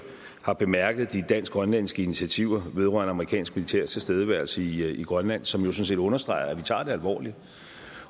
har bemærket de dansk grønlandske initiativer vedrørende amerikansk militær tilstedeværelse i grønland som jo sådan set understreger at vi tager det alvorligt